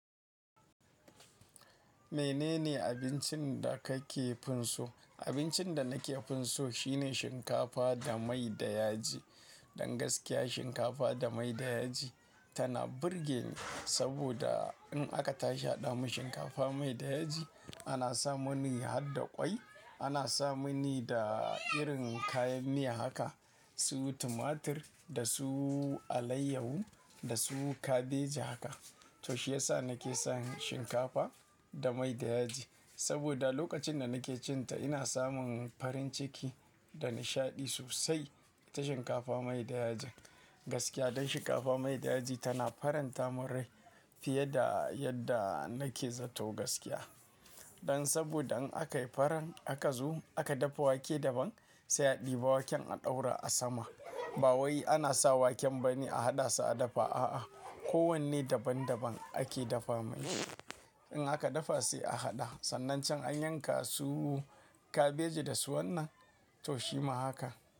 Menene abincin da ka ke fin so? Abincin da na kefin so shine shinkafa da mai da yaji. Don gaskiya shinkafa da mai da yaji tana burge ni, saboda in aka tashi a da mu shinkafa mai da yaji, ana sa mani hadda ƙwai, ana sa mani da irin kayan miya haka, su tumatir da su alaiyahu da su kabeji haka. To shi yasa na ke son shinkafa da mai da yaji. Saboda lokacin da na ke cin ta ina samun farin ciki da nishaɗi sosai ta shinkafa mai da yaji. Gaskiya don shinkafa mai da yaji tana faranta mun rai fiye da yadda na ke zato gaskiya. Don saboda in aka yi faran aka zo aka dafa wake daban, sai a ɗiba waken a ɗaura a sama. Ba wai ana sa waken ba ne a haɗa sa a dafa, a'a, kowanne daban daban ake dafa mai. In aka dafa sai a haɗa. Sannan can an yanka su kabeji da su wannan, to shima haka.